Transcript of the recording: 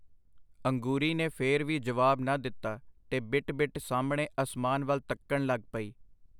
ਅੰਗੂਰੀ ਨੇ ਫੇਰ ਵੀ ਜਵਾਬ ਨਾ ਦਿੱਤਾ, ਤੇ ਬਿਟ ਬਿਟ ਸਾਹਮਣੇ ਅਸਮਾਨ ਵੱਲ ਤੱਕਣ ਲੱਗ ਪਈ.